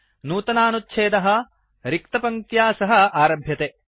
नूतनानुच्छेदः paragraph रिक्तपङ्क्त्या सह आरभते